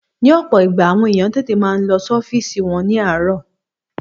Ní ọ̀pọ̀ ìgbà, àwọn èèyàn máa n tètè lọ sí ọ́fìsì wọn ní àárò